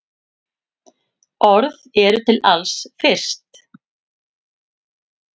Orð eru til alls fyrst.